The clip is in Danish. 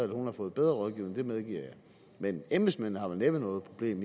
hun har fået bedre rådgivning det medgiver jeg men embedsmændene har vel næppe noget problem